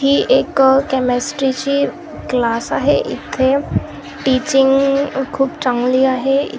ही एक केमिस्ट्रीची क्लास आहे इथे टीचिंग खूप चांगली आहे.